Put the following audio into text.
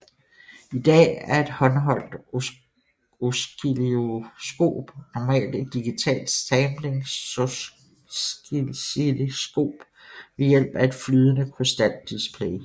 I dag er et håndholdt oscilloskop normalt et digitalt samplingsoscilloskop ved hjælp af et flydende krystaldisplay